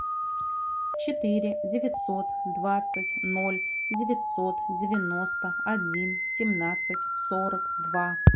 четыре девятьсот двадцать ноль девятьсот девяносто один семнадцать сорок два